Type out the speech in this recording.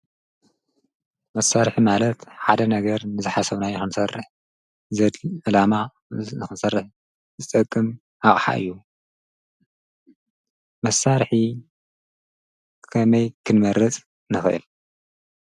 መሣርሕ ማለት ሓደ ነገር ንዝኃሰውና ይኹንሠርሕ ዘድ ኣላማ ነኽንሠርሕ ዘጠቅም ኣቕሓ እዩ መሣርኂ ከመይ ክንመረት ነኽል።